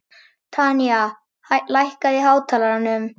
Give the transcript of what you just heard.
Tanya, lækkaðu í hátalaranum.